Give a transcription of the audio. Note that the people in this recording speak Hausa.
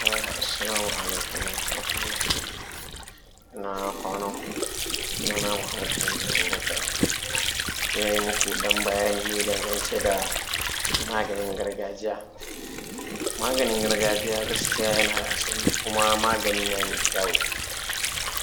Assalamu alaikum warahmatullah, inaa kwananku, sunaana Mahmud Aminu Abubakar, zan yi maku ɗan bayani ne dangance da maganin gargajiya. Maganin gargajiya gaskiya yana da asali kuma magani na mai kyau,